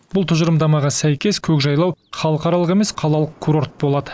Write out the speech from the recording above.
бұл тұжырымдамаға сәйкес көкжайлау халықаралық емес қалалық курорт болады